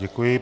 Děkuji.